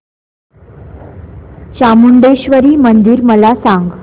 चामुंडेश्वरी मंदिर मला सांग